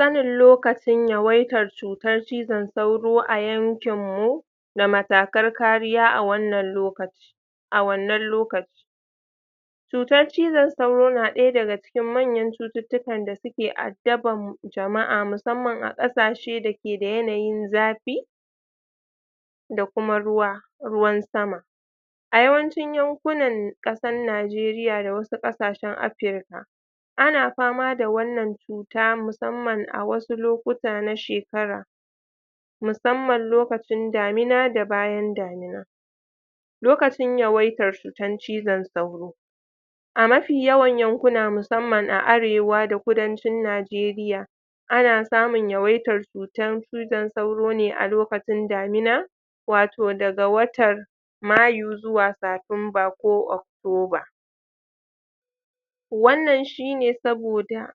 sanin lokacin yawaitar cutan cizon sauro ko a yankinmu da matakar kariya a wannan lokacin a wannan lokacin cutar cizon sauro na daya daga cikin manyan cututtukan da suke addaban jama'a musamman a kasashe da suke da yanayin zafi da kuma ruwa ruwan sama a yawancin yankunan kasan najeriya da wasu kasashen africa ana fama da wannan cuta musamman a wasu lokuta na shekara musamman lokacin damina da bayan damina lokacin yawaitan cutar cizon sauro a mafi yawan yankunan musamman a arewa da kudancin nijeriya ana samun yawaitar cutar cizon sauro a lokacin damina wato daga watar mayu zuwa satumba ko oc tober wannan shine saboda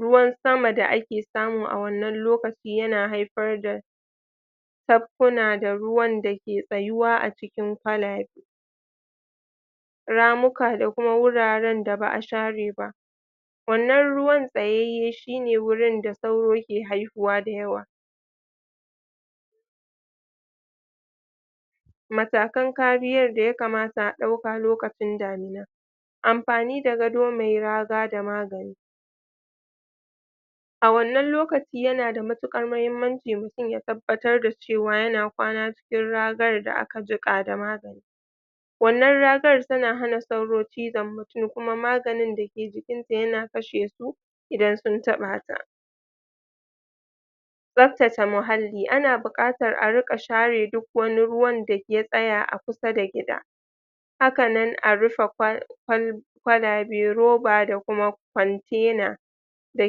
ruwan sama da ake samu awannan lokaci yana haifar da tappuna da ruwan dake tsayuwa a cikin kwalabe ramu ka da kuma wuraren da baa share ba wannan ruwan tsayayye shine wurin da suaro ke haihuwa da yawa matakan kariyan da ya kamata a dauka lokacin damina amfani da gado me raga da magani a wannan lokaci yana da matukar mahimmanci mutum ya tabbatar cewa yana kwana cikin ragar da aka jika da magani wannan ragar tana hana sauro cizon mutum kuma maganin da ke cikin ta yana kashesu idan sun tabata tsabtace muhalli ana bukatar a rika share duk wani ruwan da ya tsaya a kusa da gida hakanan a rufe kwal kwal kwalabe roba da kuma kwantena da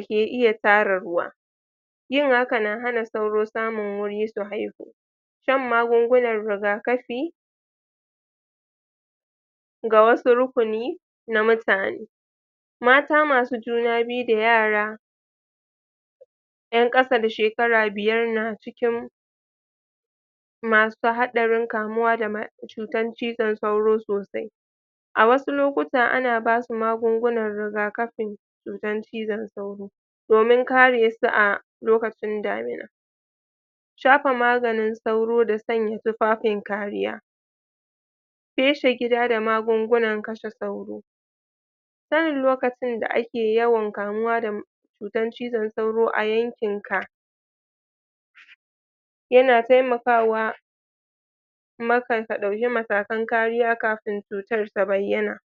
ke iya tara ruwa yin haka na hana sauro samun wuri su haihu shan magungunan rigakafi ga wasu rukuni na mutane mata masu juna biyu da yara yan kasa da shekara biyar na cikin masu hadarin kamuwa da ma cutan cizon sauro sosai a wasu lokutan ana basu magungunan rigakafi cutan cizon sauro domin karesu a ' lokacin damina shafa maganin sauro da sanya tufafin kariya feshe gida da magungunan lashe sauro sanin lokacin da ake yawan kamuwa da cutan cizon sauro a yankinka yana taimakawa kuma ka dauki matakan kariya kafin cutan ta bayyana